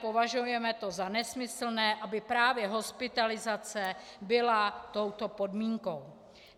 Považujeme to za nesmyslné, aby právě hospitalizace byla touto podmínkou.